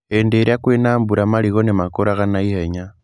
Hĩndĩ ĩrĩa kwĩna mbura marigũ nĩ makũraga na ihenya.